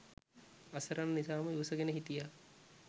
අසරණ නිසාම ඉවසගෙන හිටියා.